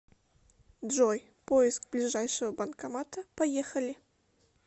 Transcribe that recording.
джой поиск ближайшего банкомата поехали